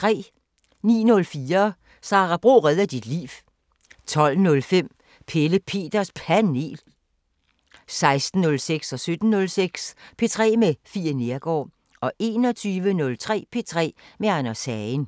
09:04: Sara Bro redder dit liv 12:05: Pelle Peters Panel 16:06: P3 med Fie Neergaard 17:06: P3 med Fie Neergaard 21:03: P3 med Anders Hagen